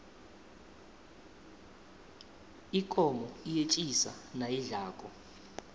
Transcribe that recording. ikomo iyetjisa nayidlako